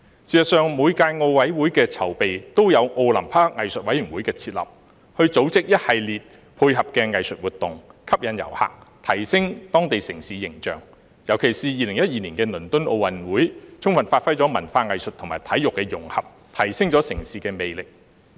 事實上，每屆奧林匹克委員會的籌備，都有奧林匹克藝術委員會的設立，以組織一系列配合的藝術活動，吸引遊客，並提升當地城市形象，尤其是2012年的倫敦奧運會，充分發揮了文化藝術和體育的融合，提升了城市的魅力。